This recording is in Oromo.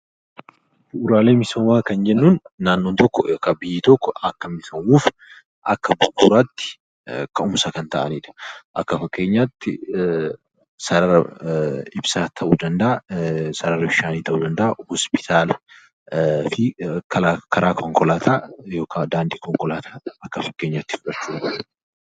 Bu'uraalee Misoomaa kan jennuun naannoon tokko yookaan biyyi tokko akka misoomuuf akka bu'uraatti ka'umsa kan ta'ani dha. Akka fakkeenyaa tti sarara ibsaa ta'uu danda'aa, sarara bishaanii ta'uu danda'aa, Hoospitaalaa fi karaa konkolaataa yookaan daandii konkolaataa akka fakkeenyaa tti fudhachuu dandeenya.